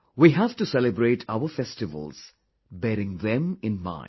We have to celebrate our festivals bearing them in mind